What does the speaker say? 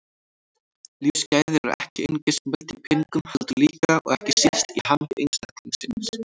Lífsgæði eru ekki einungis mæld í peningum heldur líka, og ekki síst, í hamingju einstaklingsins.